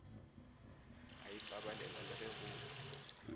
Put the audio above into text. a ipabalela le ge go